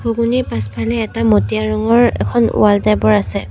ঘুগুনী পাছফালে এটা মটীয়া ৰঙৰ এখন ৱাল টাইপ ৰ আছে।